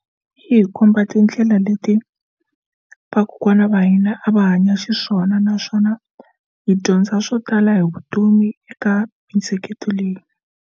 Yi hi komba tindlela leti vakokwana va hina a va hanya xiswona naswona hi dyondza swo tala hi vutomi eka mintsheketo leyi.